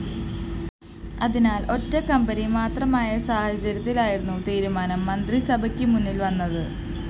അതിനാല്‍ ഒറ്റക്കമ്പനി മാത്രമായ സാഹചര്യത്തിലായിരുന്നു തീരുമാനം മന്ത്രിസഭക്ക് മുന്നില്‍വന്നത്